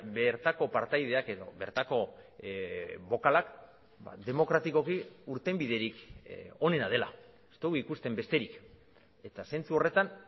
bertako partaideak edo bertako bokalak demokratikoki irtenbiderik onena dela ez dugu ikusten besterik eta zentzu horretan